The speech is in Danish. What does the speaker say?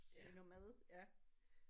Det noget mad ja